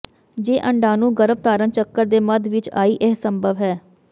ਜੇ ਅੰਡਾਣੂ ਗਰੱਭਧਾਰਣ ਚੱਕਰ ਦੇ ਮੱਧ ਵਿਚ ਆਈ ਇਹ ਸੰਭਵ ਹੈ